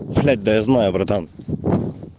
блять да я знаю братан